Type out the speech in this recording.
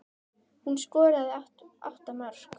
Hún skoraði átta mörk.